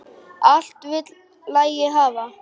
Allt vill lagið hafa.